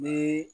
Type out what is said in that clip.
Ni